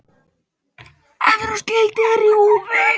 Evrópsk gildi eru í húfi.